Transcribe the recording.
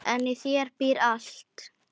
En í þér býr allt.